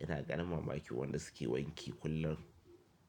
Ina ganin mamaki wanda suke wanki kullum.